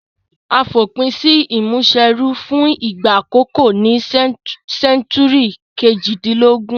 A fòpin si ìmúniserú fun ìgbà àkókó ní century kejìdínlógún